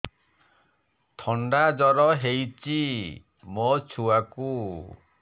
ଥଣ୍ଡା ଜର ହେଇଚି ମୋ ଛୁଆକୁ